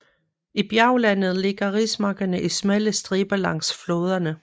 I bjerglandet ligger rismarkerne i smalle striber langs floderne